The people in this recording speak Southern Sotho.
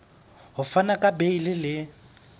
ho fana ka beile le